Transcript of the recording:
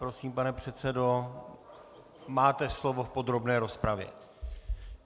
Prosím, pane předsedo, máte slovo v podrobné rozpravě.